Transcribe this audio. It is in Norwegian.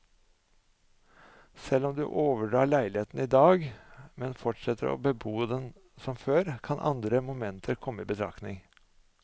Selv om du overdrar leiligheten i dag, men fortsetter å bebo denne som før, kan andre momenter komme i betraktning.